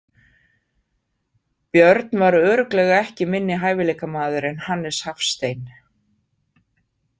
Björn var örugglega ekki minni hæfileikamaður en Hannes Hafstein.